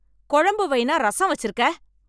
குழம்பு வையினா ரசம் வச்சிருக்க